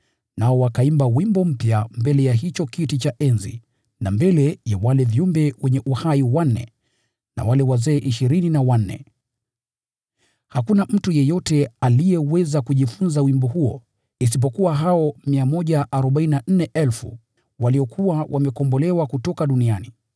Nao wakaimba wimbo mpya mbele ya hicho kiti cha enzi na mbele ya wale viumbe wanne wenye uhai na wale wazee. Hakuna mtu yeyote aliyeweza kujifunza wimbo huo isipokuwa hao 144,000 waliokuwa wamekombolewa kutoka duniani.